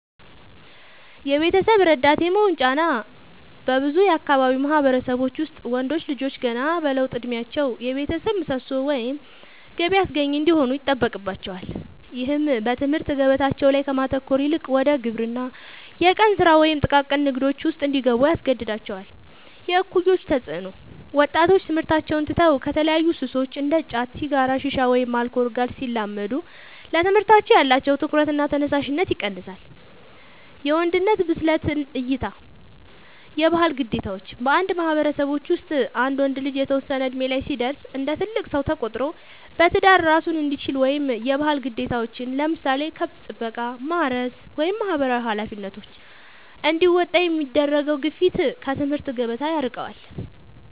የቤተሰብ ረዳት የመሆን ጫና፦ በብዙ የአካባቢው ማህበረሰቦች ውስጥ ወንዶች ልጆች ገና በለውጥ እድሜያቸው የቤተሰብ ምሰሶ ወይም ገቢ አስገኚ እንዲሆኑ ይጠበቅባቸዋል። ይህም በትምህርት ገበታቸው ላይ ከማተኮር ይልቅ ወደ ግብርና፣ የቀን ስራ ወይም ጥቃቅን ንግዶች ውስጥ እንዲገቡ ያስገድዳቸዋል። የእኩዮች ተፅዕኖ፦ ወጣቶች ትምህርታቸውን ትተው ከተለያዩ ሱሶች (እንደ ጫት፣ ሲጋራ፣ ሺሻ ወይም አልኮል) ጋር ሲላመዱ ለትምህርታቸው ያላቸው ትኩረትና ተነሳሽነት ይቀንሳል። የወንድነት ብስለት እይታ (የባህል ግዴታዎች)፦ በአንዳንድ ማህበረሰቦች ውስጥ አንድ ወንድ ልጅ የተወሰነ እድሜ ላይ ሲደርስ እንደ ትልቅ ሰው ተቆጥሮ በትዳር እራሱን እንዲችል ወይም የባህል ግዴታዎችን (ለምሳሌ ከብት ጥበቃ፣ ማረስ ወይም ማህበራዊ ኃላፊነቶች) እንዲወጣ የሚደረገው ግፊት ከትምህርት ገበታ ያርቀዋል።